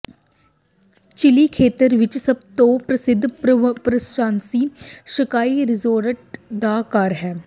chilli ਖੇਤਰ ਵਿਚ ਸਭ ਤੋਂ ਪ੍ਰਸਿੱਧ ਪ੍ਰਵਾਸੀ ਸਕਾਈ ਰਿਜ਼ੋਰਟ ਦਾ ਘਰ ਹੈ